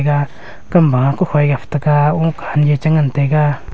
iya kam ba kakhoi gapta ga ung kha chi ngantaiga.